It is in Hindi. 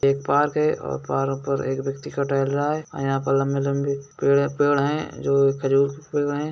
एक पार्क है और पार्क पर एक व्यक्ति का टेहल रहा है और यहाँ पे लंबे-लंबे पेड़-पेड़ है जो खजूर के पेड़ हैं|